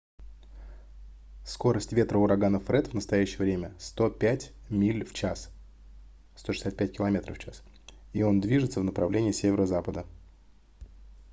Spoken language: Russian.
скорость ветра урагана фред в настоящее время 105 миль в час 165 км/ч и он движется в направление северо-запада